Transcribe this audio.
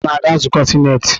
Akunna na-aga nzukọ sinetị?